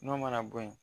N'o mana bɔ yen